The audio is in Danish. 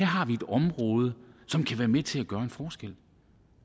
har et område som kan være med til at gøre en forskel